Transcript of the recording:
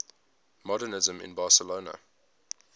modernisme in barcelona